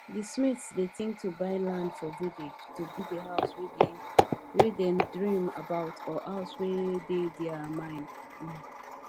di smiths dey think to buy land for village to build the house wey dem dream about or house wey dey dere mind um